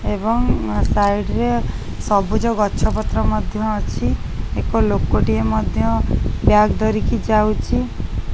ଏବଂ ଆ ସାଇଡ଼୍ ରେ ସବୁଜ ଗଛ ପତ୍ର ମଧ୍ଯ ଅଛି ଏକ ଲୋକ ଟିଏ ମଧ୍ଯ ବ୍ୟାଗ୍ ଧରିକି ଯାଉଛି।